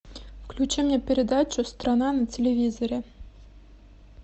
включи мне передачу страна на телевизоре